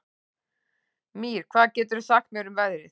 Mír, hvað geturðu sagt mér um veðrið?